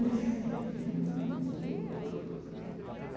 movimentos da igreja.